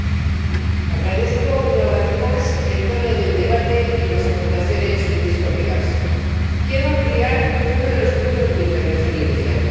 Señor Presidente, agradezco, una vez, más el tono del debate y las aportaciones de mis colegas. Quiero ampliar uno de los puntos de mi intervención inicial.